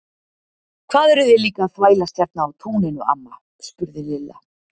Hvað eruð þið líka að þvælast hérna á túninu amma? spurði Lilla.